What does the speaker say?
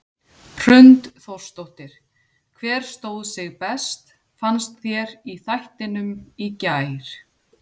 Hrund Þórsdóttir: Hver stóð sig best fannst þér í þættinum í gær?